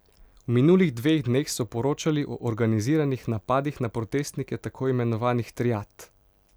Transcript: V minulih dveh dneh so poročali o organiziranih napadih na protestnike tako imenovanih triad.